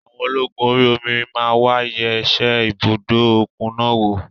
Àwọn ológun orí omi máa wà yẹ ṣe ibùdó òkun náà wò.